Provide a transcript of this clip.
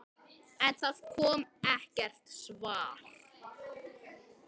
En það kom ekkert svar.